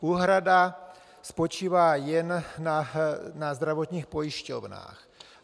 Úhrada spočívá jen na zdravotních pojišťovnách.